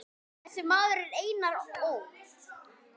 Þessi maður er Einar Ól.